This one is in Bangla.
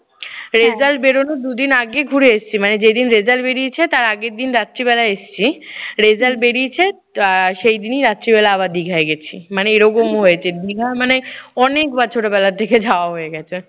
result বেরুনোর দু দিন আগে ঘুরে এসেছি। মানে যেদিন result বেরিয়েছে তার আগের দিন রাত্রিবেলা এসেছি। result বেরিয়েছে আহ সেই দিনই রাত্রিবেলা আবার দিঘায় গেছি। মানে এরকমও হয়েছে। দিঘা মানে অনেকবার ছোটবেলা থেকে যাওয়া হয়ে গেছে।